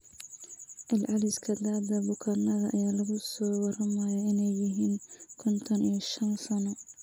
Celceliska da'da bukaanada ayaa lagu soo waramayaa inay yihiin konton iyo shan sano.